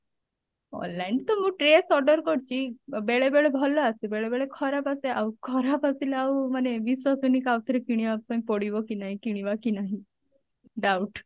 online ତ ମୁଁ dress order କରିଛି ବେଳେ ବେଳେ ଭଲ ଆସେ ବେଳେ ବେଳେ ଖରାପ ଆସେ ଆଉ ଖରାପ ଆସିଲେ ଆଉ ବିଶ୍ବାସ ହୁଏନି କି ଆଉଥରେ କିଣିବା ପାଇଁ ପଡିବ କି ନାହିଁ କିଣିବା କି ନାହିଁ doubt